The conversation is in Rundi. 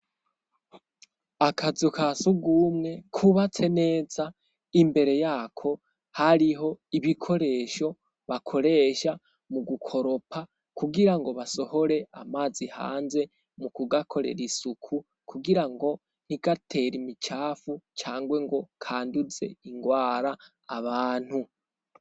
akazu kasugumwe kubatse neza imbere yako hariho ibikoresho bakoresha mu gukoropa kugira ngo basohore amazi hanze mu kugakorera isuku kugirango ntigatere imicafu cangwe ngo kanduze ingwara abantu